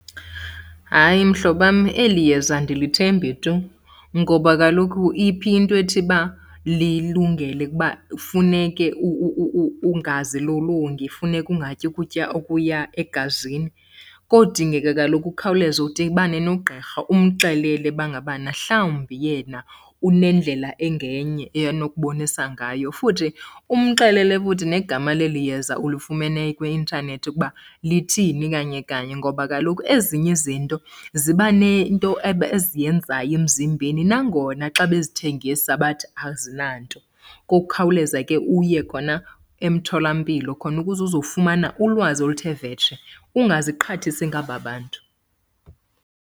Hayi mhlobam, eli yeza andilithembi tu ngoba kaloku iphi into ethi ba lilungele ukuba funeke ungazilolongi, funeke ungatyi kutya okuya egazini. Kodingeka kaloku ukhawuleze udibane nogqirha umxelele uba ngabana mhawumbi yena unendlela engenye anokubonisa ngayo, futhi umxelele futhi negama leli yeza ulifumene kwi-intanethi ukuba lithini kanye kanye. Ngoba kaloku ezinye izinto ziba nento eziyenzayo emzimbeni, nangona xa bezithengisa bathi azinanto. Ngokukhawuleza ke uye khona emtholampilo khona ukuze uzofumana ulwazi oluthe vetshe, ungaziqhathisi ngaba bantu.